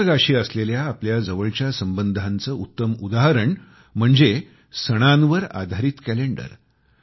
निसर्गाशी असलेल्या आपल्या जवळच्या संबंधांचे उत्तम उदाहरण म्हणजे सणांवर आधारित कॅलेंडर